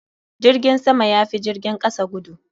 Jirgin sama ya fi jirgin kasa gudu.